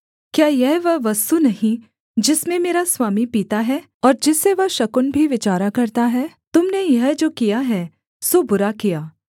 क्या यह वह वस्तु नहीं जिसमें मेरा स्वामी पीता है और जिससे वह शकुन भी विचारा करता है तुम ने यह जो किया है सो बुरा किया